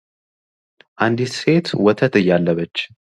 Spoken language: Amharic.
አንዲት ሴት ወተት እያለበች የሚያሳይ ምስል ነው ።